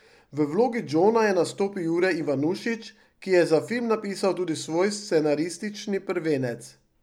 V vlogi Džona je nastopil Jure Ivanušič, ki je za film napisal tudi svoj scenaristični prvenec.